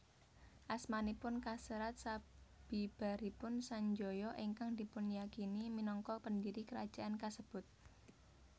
Asmanipun kaserat sabibaripun Sanjaya ingkang dipunyakini minangka pendiri kerajaan kasebut